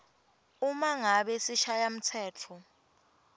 uma ngabe sishayamtsetfo